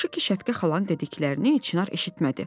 Yaxşı ki, Şəfiqə xalanın dediklərini Çinar eşitmədi.